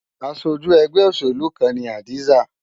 Aṣojú ẹgbẹ́ òṣèlú kan ni Hadiza.